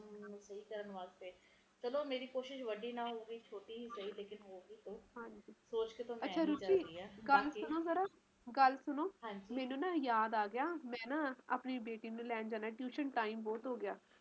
ਹੋਰ ਸੁਣਾਓ ਤੁਹਾਡੀਆਂ ਛੁੱਟੀਆਂ ਨੀ ਚਲ ਰਹੀਆਂ ਨਹੀਂ ਗ ਮੇਰਿਆ ਤਾ ਕੋਈ ਛੁੱਟੀ ਨੀ ਚਲ ਰਹੀ ਛੁੱਟੀ ਲਾਓ ਗੀ ਕਿਉਕਿ ਮੈਨੂੰ ਓਹਨਾ ਨੇ ਉਹ ਕਿਹਾ ਹੈ ਛੁੱਟੀ ਹੈ ਨੀ ਪਾਰ ਮੰਗਣੀ ਪੈਣੀ ਐ ਧੱਕੇ ਨਾਲ ਉਹ ਵੀ